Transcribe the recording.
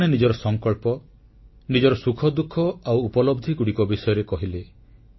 ଲୋକମାନେ ନିଜର ସଂକଳ୍ପ ନିଜର ସୁଖଦୁଃଖ ଆଉ ଉପଲବ୍ଧିଗୁଡ଼ିକ ବିଷୟରେ କହିଲେ